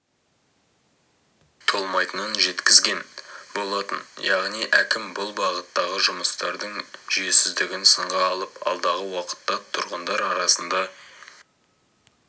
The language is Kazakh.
толмайтынын жеткізген болатын яғни әкім бұл бағыттағы жұмыстардың жүйесіздігін сынға алып алдағы уақытта тұрғындар арасында